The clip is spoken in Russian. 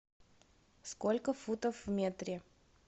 сколько футов в метре